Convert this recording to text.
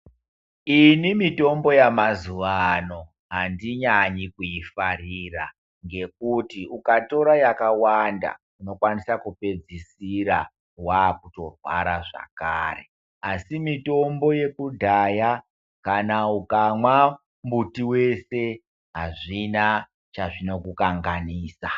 Ini mitombo yamazuvano handinyanyi kuifarira ngekuti ukatora yakawanda unokwanisa kupedzisira waakutorwara zvakare. Asi mitombo yekudhaya kana ukamwa mbuti wese hazvina chazvinokukanganisa.